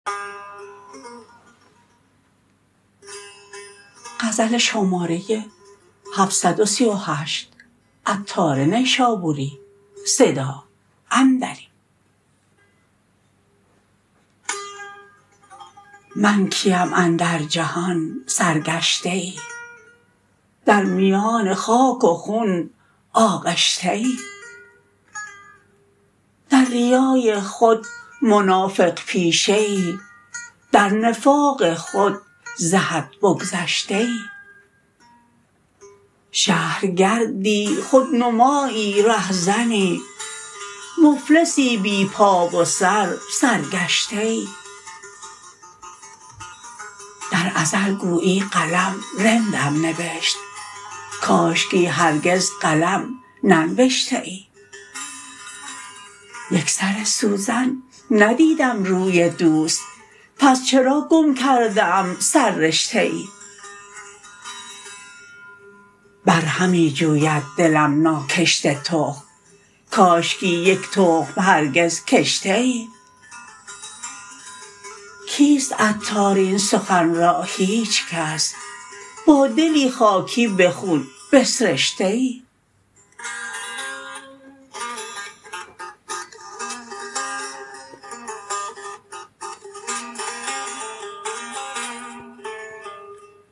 من کیم اندر جهان سرگشته ای در میان خاک و خون آغشته ای در ریای خود منافق پیشه ای در نفاق خود ز حد بگذشته ای شهرگردی خودنمایی رهزنی مفلسی بی پا و سر سرگشته ای در ازل گویی قلم رندم نبشت کاشکی هرگز قلم ننبشته ای یک سر سوزن ندیدم روی دوست پس چرا گم کرده ام سر رشته ای برهمی جوید دلم ناکشته تخم کاشکی یک تخم هرگز کشته ای کیست عطار این سخن را هیچکس با دلی خاکی به خون بسرشته ای